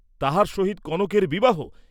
তাহার সহিত কনকের বিবাহ!